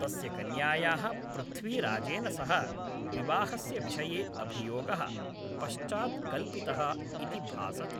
तस्य कन्यायाः पृथ्वीराजेन सह विवाहस्य विषये अभियोगः, पश्चात् कल्पितः इति भासते।